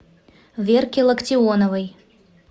верке локтионовой